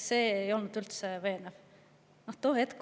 See ei olnud üldse veenev!